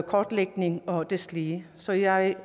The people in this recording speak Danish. kortlægning og deslige så jeg